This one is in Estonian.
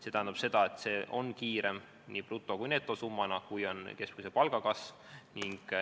See tähendab, et see on nii bruto- kui ka netosummana kiirem, kui on keskmise palga kasv.